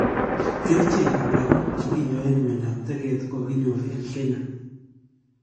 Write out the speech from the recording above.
Kerichek ab lakook chekinyaen myandab teket kokakinyoor en Kenya